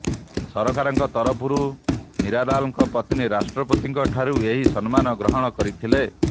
ସରକାରଙ୍କ ତରଫରୁ ନିରାଲାଙ୍କ ପତ୍ନୀ ରାଷ୍ଟ୍ରପତିଙ୍କ ଠାରୁ ଏହି ସମ୍ମାନ ଗ୍ରହଣ କରିଥିଲେ